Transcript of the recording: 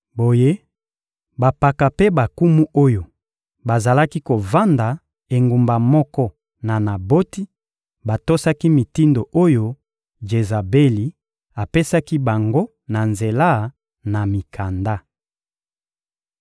Boye, bampaka mpe bankumu oyo bazalaki kovanda engumba moko na Naboti batosaki mitindo oyo Jezabeli apesaki bango na nzela na mikanda.